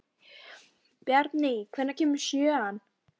Bjarný, hvenær kemur sjöan?